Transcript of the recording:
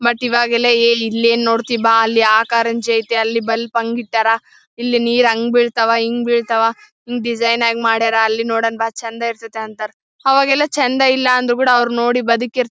ಮತ್ತೆ ಈವಾಗೆಲ್ಲ ಏ ಇಲ್ಲೇನು ನೋಡ್ತಿ ಬಾ ಅಲ್ಲಿ ಆ ಕಾರಂಜಿ ಐತೆ ಅಲ್ಲಿ ಬಲ್ಬ್ ಹಂಗಿಟ್ಟಾರ ಇಲ್ಲಿ ನೀರು ಹ್ಯಾಂಗ ಬಿಳ್ತಾವ ಹಿಂಗ್ ಬಿಳ್ತಾವ ಡಿಸೈನ್ ಆಗಿ ಮಾಡ್ಯಾರ ಅಲ್ಲಿ ನೋಡಣ ಬಾ ಚಂದ ಇರತೈತೆ ಅಂತಾರೆ ಅವಾಗೆಲ್ಲ ಚಂದ ಇಲ್ಲ ಅಂದ್ರು ಕೂಡ ಅವರು ನೋಡಿ ಬದುಕಿರ್ತಾರ --